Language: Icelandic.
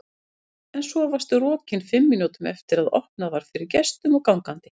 En svo varstu rokin fimm mínútum eftir að opnað var fyrir gestum og gangandi.